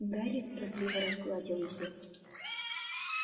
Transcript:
гарри торопливо разгладил её